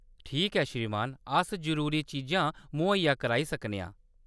ठीक ऐ, श्रीमान। अस जरूरी चीजां मुहैया कराई सकने आं।